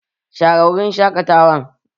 Share wurin shaƙatawan!